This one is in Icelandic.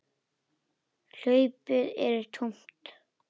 Hlaupið er tómt.